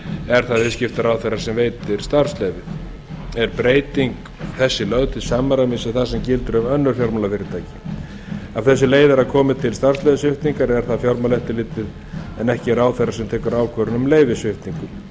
er það viðskiptaráðherra sem veitir starfsleyfið er breyting þessi lögð til til samræmis við það sem gildir um önnur fjármálafyrirtæki af þessu leiðir að komi til starfsleyfissviptingar er það fjármálaeftirlitið en ekki ráðherra sem tekur ákvörðun um leyfissviptingu